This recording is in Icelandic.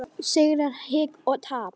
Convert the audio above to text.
Sókn, sigrar, hik og tap.